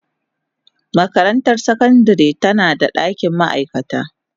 Makarantar sakandare tana da dakin ma'aikata.